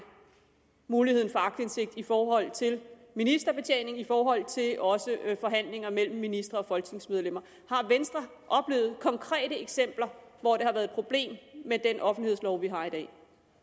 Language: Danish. muligheden for aktindsigt i forhold til ministerbetjening i forhold til også forhandlinger mellem ministre og folketingsmedlemmer har venstre oplevet konkrete eksempler hvor det har været et problem med den offentlighedslov vi har i dag